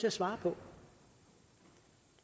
at svare på